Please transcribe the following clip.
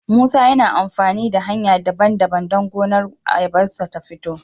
musa yana amafani hanya daban daban dan gonar ayabarshi ta fito